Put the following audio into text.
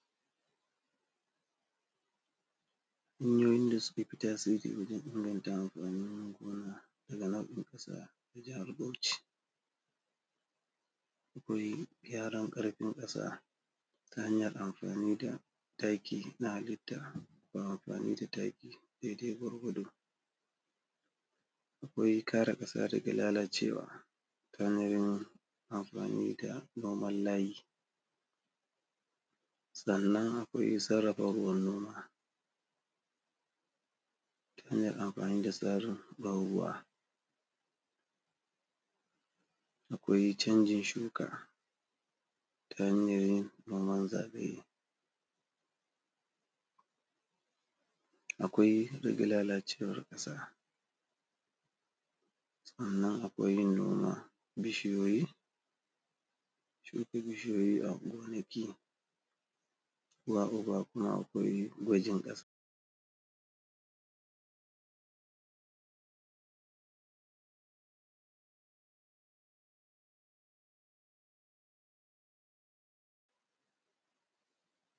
hanyoyin da suke fita dan inganta amfanin gona daga nan jihar bauci na farko gyaran kasa a jihar bauci kuyi gyaran kasa ta hanyan amfani da taki dai dai gwargwado akwai kare kasa daga lalacewa yanayin amfani da noman layi sannan akwai sarrafa gonuwa shine amfani da ʦarin ban ruwa akwai chanjin shuka ta hanyan yin noman zube akwai dada lalacewar kasa sannan akwai yin noma bishiyoyi a gonaki uwa uba kuma akwai gwajin kasa